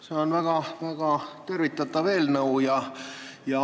See on väga tervitatav eelnõu.